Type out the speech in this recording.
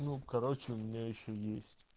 ну короче у меня ещё есть